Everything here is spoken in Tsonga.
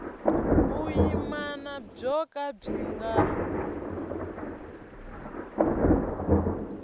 vuyimana byo ka byi nga